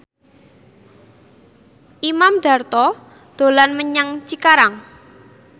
Imam Darto dolan menyang Cikarang